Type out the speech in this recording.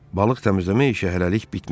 Balıq təmizləmə işi hələlik bitmişdi.